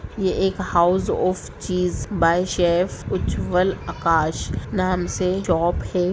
यहाँ एक house of cheese by chef Ujjwal Akash नाम से शोप है।